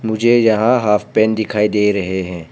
मुझे यहां half pant दिखाई दे रहे हैं।